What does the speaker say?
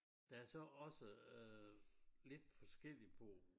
Der er så også øh lidt forskelligt på